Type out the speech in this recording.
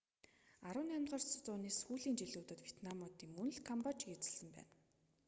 18-р зууны сүүлийн жилүүдэд ветнамыууд мөн л камбожийг эзэслсэн байна